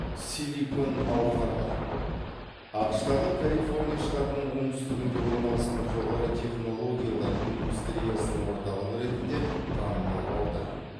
силикон алқабы ақш тағы калифорния штатының оңтүстігінде орналасқан жоғары технологиялар индустриясының орталығы ретінде танымал аудан